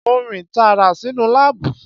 Mo rìn tààrà sínú láàbù